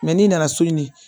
n'i nana so nin